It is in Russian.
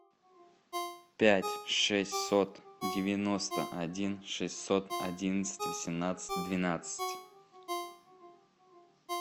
пять шестьсот девяносто один шестьсот одиннадцать восемнадцать двенадцать